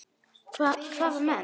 Hvaða menn?